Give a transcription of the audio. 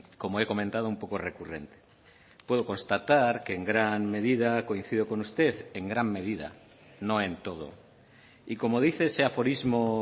como he comentado un poco recurrente puedo constatar que en gran medida coincido con usted en gran medida no en todo y como dice ese aforismo